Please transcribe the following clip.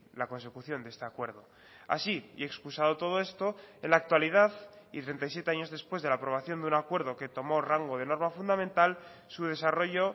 la consecución de este acuerdo así y excusado todo esto en la actualidad y treinta y siete años después de la aprobación de un acuerdo que tomó rango de norma fundamental su desarrollo